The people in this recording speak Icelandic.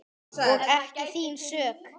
Og ekki þín sök.